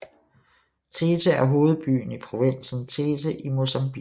Tete er hovedbyen i provinsen Tete i Mozambique